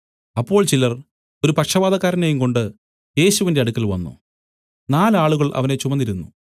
അപ്പോൾ ചിലർ ഒരു പക്ഷവാതക്കാരനെയുംകൊണ്ട് യേശുവിന്റെ അടുക്കൽ വന്നു നാല് ആളുകൾ അവനെ ചുമന്നിരുന്നു